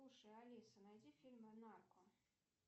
слушай алиса найди фильмы нарко